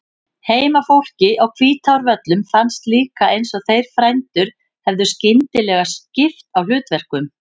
Heimafólki á Hvítárvöllum fannst líka eins og þeir frændur hefðu skyndilega skipt á hlutverkum.